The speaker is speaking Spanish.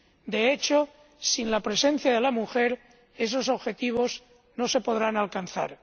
De hecho, sin la presencia de la mujer esos objetivos no se podrán alcanzar.